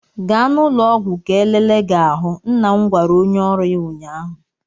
Gaa n'ụlọ ọgwụ ka elele gi ahụ! nna m gwara onye oru ya ụnyaahụ.